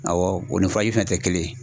Awɔ o ni furaji fɛnɛ tɛ kelen ye.